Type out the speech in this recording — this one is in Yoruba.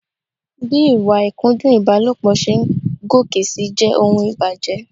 Bí ìwà ìkúndùn ìbálòpọ̀ ṣe ń gòkè si jẹ́ ohun ìbànújẹ.